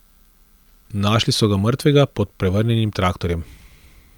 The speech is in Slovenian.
Našli so ga mrtvega pod prevrnjenim traktorjem.